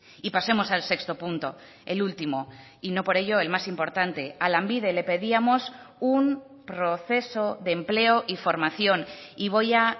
y pasemos al sexto punto el último y no por ello el más importante a lanbide le pedíamos un proceso de empleo y formación y voy a